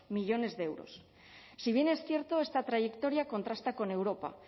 millónes de euros si bien es cierto esta trayectoria contrasta con europa